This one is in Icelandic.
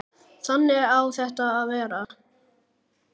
Þannig á það að vera.